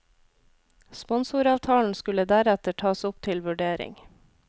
Sponsoravtalen skulle deretter tas opp til vurdering.